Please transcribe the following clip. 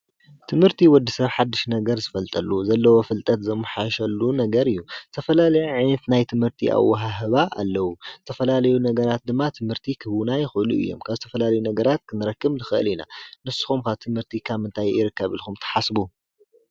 ትምህርቲ ወዲ ሰብ ሓድሽ ነገር ዝፈልጠሉ ዘለዎ ፍልጠት ዘሓይሸሉ ነገር እዩ፡፡ ተፈላለዩ ዓይነት ናይ ትምህርቲ ኣወሃህባ ኣለዉ፡፡ ተፈላለዩ ነገራት ድማ ትምህርቲ ኽህቡና ይኽእሉ እዮም፡፡ ካብ ዝተፈላልዩ ነገራት ክንረክብ ንኽእል ኢና ንስኹም ከ ትምህርቲ ካብ ምንታይ ይርከብ ኢልኩም ትሓስቡ?